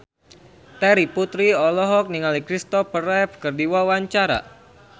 Terry Putri olohok ningali Christopher Reeve keur diwawancara